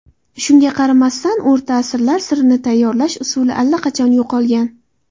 Shunga qaramasdan, o‘rta asrlar sirini tayyorlash usuli allaqachon yo‘qolgan.